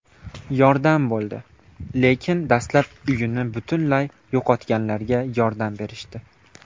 Yordam bo‘ldi, lekin dastlab uyini butunlay yo‘qotganlarga yordam berishdi”.